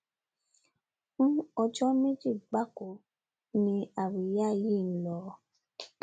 fún ọjọ méjì gbáko ni àríyá yìí lọ